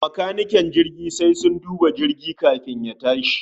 Macanike jirgi sai sun duba jirgi kafin ya tashi